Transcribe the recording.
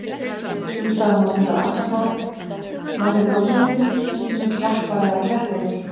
Sums staðar má finna Arnarhól nærri landamerkjum, stundum sem klappar- eða klettahól.